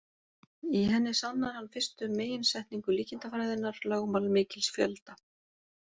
Í henni sannar hann fyrstu meginsetningu líkindafræðinnar, lögmál mikils fjölda.